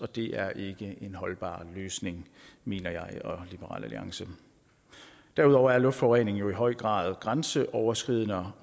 det er ikke en holdbar løsning mener jeg og liberal alliance derudover er luftforurening i høj grad grænseoverskridende og